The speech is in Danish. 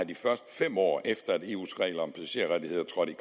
de første fem år efter at eu’s regler om passagerrettigheder trådte